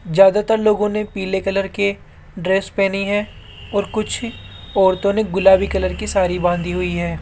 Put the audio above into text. ज्यादातर लोगों ने पीले कलर के ड्रेस पहनी है और कुछ औरतों ने गुलाबी कलर की साड़ी बंधी हुई है।